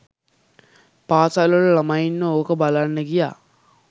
පාසල් වල ළමයින්ව ඕක බලන්න ගියා